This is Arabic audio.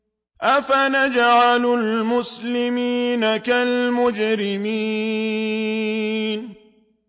أَفَنَجْعَلُ الْمُسْلِمِينَ كَالْمُجْرِمِينَ